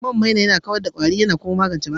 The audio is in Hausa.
Man maina yana kawar da kwari, magance yanayin fata.